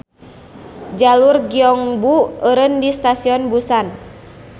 Jalur Gyeongbu eureun di Stasion Busan.